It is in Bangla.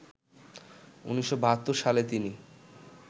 ১৯৭২ সালে তিনি